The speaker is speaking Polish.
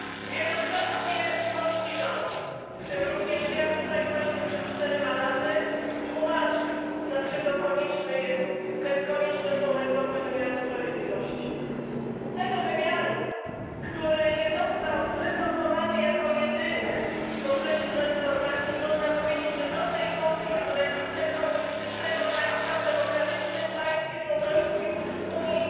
Wielokrotnie polski rząd, w tym również ja tutaj właśnie przed czterema laty, tłumaczył dlaczego konieczne są reformy wymiaru sprawiedliwości, tego wymiaru, który nie został zreformowany jako jedyny w okresie transformacji i można powiedzieć, że do tej pory jest reliktem komunistycznego państwa w demokratycznym państwie członkowskim Unii